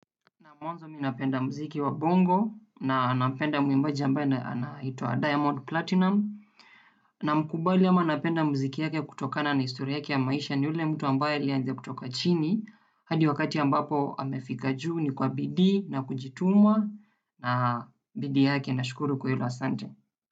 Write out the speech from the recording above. Naam, mwanzo mi napenda muziki wa bongo na nampenda mwimbaji ambaye anaitwa Diamond Platinumz. Namkubali ama napenda muziki yake kutokana na historia yake ya maisha, ni yule mtu ambaye alianzia kutoka chini hadi wakati ambapo amefika juu ni kwa bidii na kujituma na bidii yake nashukuru kwa hilo. Asante.